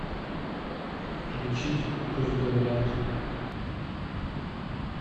включить пусть говорят